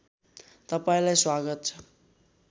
तपाईँलाई स्वागत छ